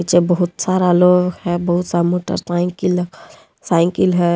नीचे बहुत सारा लोग है बहुत सा मोटर साइकिल साइकिल है।